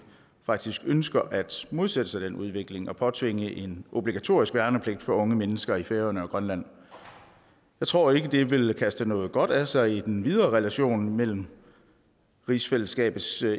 faktisk ønsker at modsætte sig den udvikling og vil påtvinge en obligatorisk værnepligt for unge mennesker i færøerne og grønland jeg tror ikke det vil kaste noget godt af sig i den videre relation mellem rigsfællesskabets